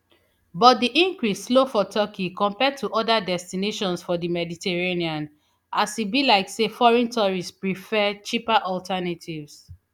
but di increase slow for turkey compared to oda destinations for di mediterranean as e be like say foreign tourists prefer cheaper alternatives